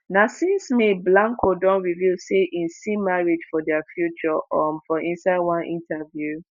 na since may blanco don reveal say im see marriage for dia future um for inside one interview.